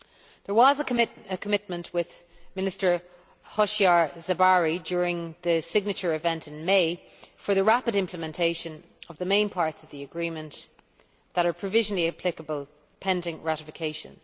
There was a commitment with Minister Hoshyar Zebari during the signature event in May for the rapid implementation of the main parts of the agreement that are provisionally applicable pending ratification.